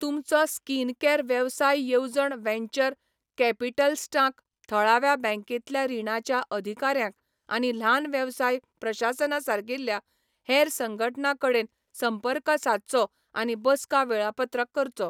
तुमचो स्किनकेअर वेवसाय येवजण वेंचर कॅपिटलस्टांक, थळाव्या बँकेंतल्या रिणाच्या अधिकाऱ्यांक, आनी ल्हान वेवसाय प्रशासना सारकिल्या हेर संघटणां कडेन संपर्क सादचो आनी बसका वेळापत्रक करचो.